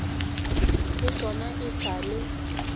le tšona e sa le